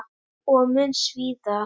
Og mun svíða.